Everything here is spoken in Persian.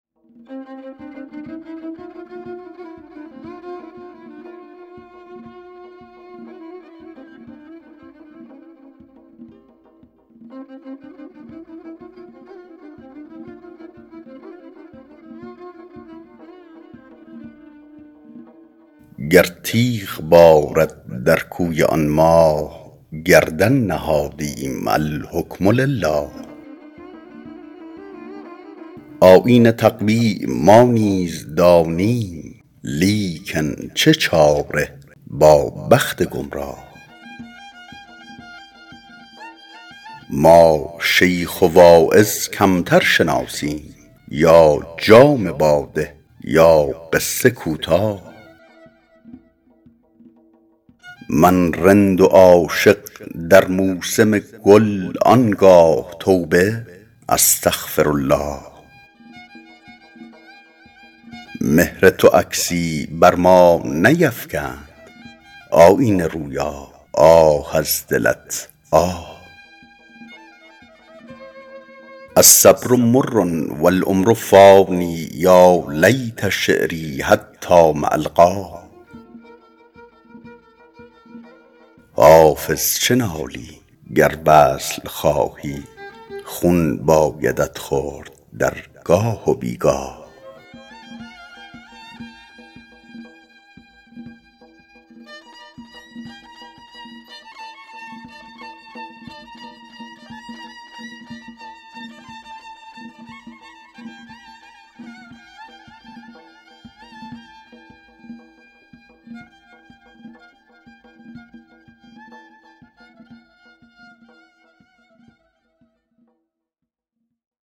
گر تیغ بارد در کوی آن ماه گردن نهادیم الحکم لله آیین تقوا ما نیز دانیم لیکن چه چاره با بخت گمراه ما شیخ و واعظ کمتر شناسیم یا جام باده یا قصه کوتاه من رند و عاشق در موسم گل آن گاه توبه استغفرالله مهر تو عکسی بر ما نیفکند آیینه رویا آه از دلت آه الصبر مر و العمر فان یا لیت شعري حتام ألقاه حافظ چه نالی گر وصل خواهی خون بایدت خورد در گاه و بی گاه